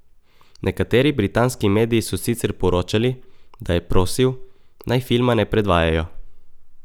Nekateri britanski mediji so sicer poročali, da je prosil, naj filma ne predvajajo.